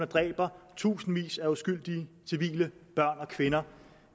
dræber tusindvis af uskyldige civile børn og kvinder